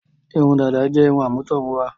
Irun dàda jẹ́ irun àmútọ̀runwá.